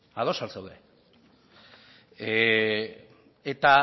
ezta ados al zaude eta